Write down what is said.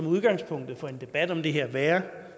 udgangspunktet for en debat om det her være